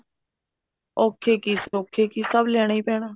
ਔਖੇ ਕੀ ਸੋਖੇ ਕੀ ਸਭ ਲਿਆਣਾਹੀ ਪੈਣਾ